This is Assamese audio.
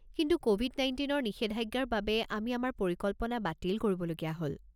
কিন্তু ক'ভিড-১৯ৰ নিষেধাজ্ঞাৰ বাবে আমি আমাৰ পৰিকল্পনা বাতিল কৰিবলগীয়া হ'ল।